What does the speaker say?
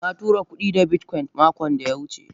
Na tura kudi da bitcoin makon da ya wuce.